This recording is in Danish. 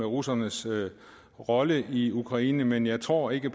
russernes rolle i ukraine men jeg tror ikke